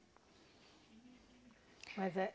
Mas é...